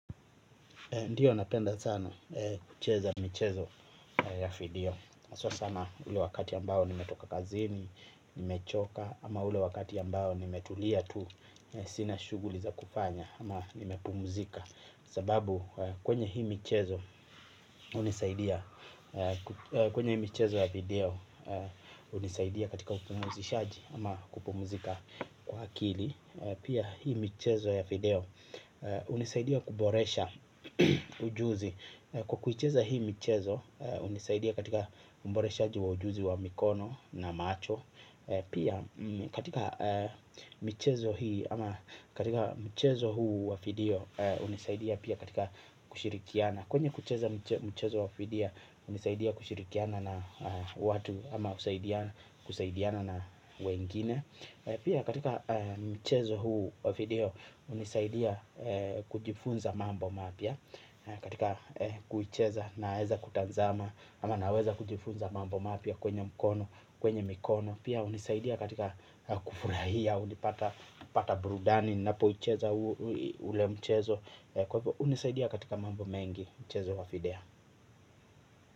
Ndiyo napenda sana kucheza michezo ya video haswa sana ule wakati ambao nimetoka kazini, nimechoka. Ama ule wakati ambao nimetulia tu sina shughuli za kufanya. Ama nimepumzika. Sababu kwenye hii michezo hunisaidia. Kwenye hi michezo ya video hunisaidia katika upumzishaji ama kupumzika kwa akili. Pia hii michezo ya video hunisaidia kuboresha ujuzi. Kwa kuicheza hii michezo hunisaidia katika uboreshaji wa ujuzi wa mikono na macho. Pia katika michezo hii ama katika michezo huu wa video hunisaidia pia katika kushirikiana. Kwenye kucheza michezo wa video hunisaidia kushirikiana na watu ama kusaidiana na wengine. Pia katika michezo huu wafidio unisaidia kujifunza mambo mapya katika kuicheza naeza kutazama ama naweza kujifunza mambo mapya kwenye mkono kwenye mikono pia hunisaidia katika kufurahia hunipata burudani ninapo ucheza ule mchezo hunisaidia katika mambo mengi mchezo wa video.